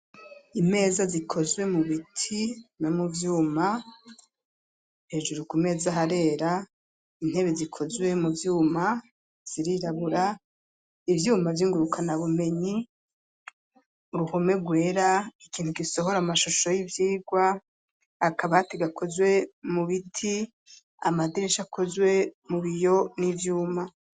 Imeza zikozwe mu biti no mu vyuma hejuru ku meza harera intebe zikozwe mu vyuma zirirabura ivyuma vyingurukana bumenyi uruhome gwera ikintu gisohora amashusho c'ivyigwa, akabati gakozwe mu biti, amadirisha akozwe mu biyo n'ivyuma.